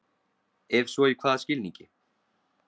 Ef svo í hvaða skilningi?